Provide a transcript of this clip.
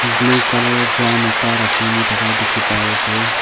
blue colour drum ekta rakhina thaka dikhipaiase.